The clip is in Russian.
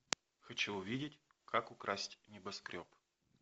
хочу увидеть как украсть небоскреб